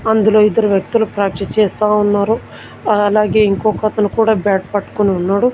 అందులో ఇద్దరు వ్యక్తులు ప్రాక్టీస్ చేస్తా ఉన్నారు అలాగే ఇంకొక అతను కూడా బ్యాట్ పట్టుకొని ఉన్నాడు.